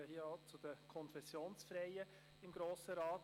Ich gehöre zu den «Konfessionsfreien» im Grossen Rat.